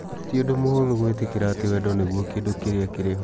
Ti ũndũ mũhũthũ gwĩtĩkĩra atĩ wendo nĩguo kĩndũ kĩrĩa kĩrĩ ho.